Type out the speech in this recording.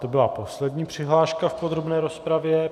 To byla poslední přihláška v podrobné rozpravě.